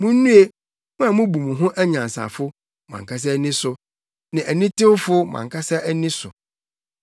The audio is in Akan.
Munnue, mo a mubu mo ho anyansafo, mo ankasa ani so ne anitewfo mo ankasa ani so.